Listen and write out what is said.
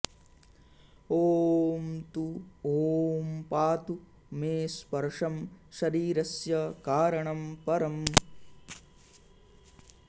ॐ तु ॐ पातु मे स्पर्शं शरीरस्य कारणं परम्